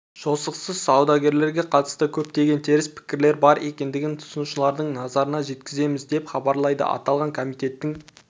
жосықсыз саудагерлерге қатысты көптеген теріс пікірлер бар екендігін тұтынушылардың назарына жеткіземіз деп хабарлайды аталған комитеттің